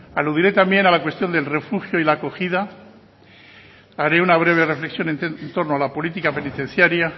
aludiré también a la cuestión del refugio y la acogida haré una breve reflexión en torno a la política penitenciaria